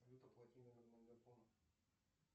салют оплати номер мегафона